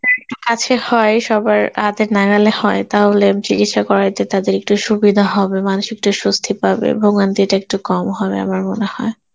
টা একটু কাছে হয়, সবার হাতের নাগালে হয় তাহলে চিকিৎসা করাইতে তাদের একটু সুবিধা হবে, মানুষ একটু স্বস্তি পাবে, ভোগান্তি টা একটু কম হবে আমার মনে হয়.